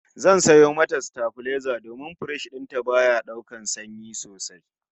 Zan sayo mata sitabilaiza domin firiji din ta baya daukar sanyi sosai